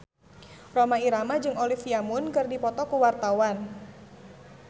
Rhoma Irama jeung Olivia Munn keur dipoto ku wartawan